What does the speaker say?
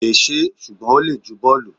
kò lè ṣe é, ṣùgbọ́n ó le ju bọ́ọ̀lù.